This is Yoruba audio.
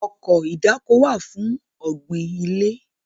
Ọkọ̀ ìdáko wà fún ọ̀gbìn ilẹ̀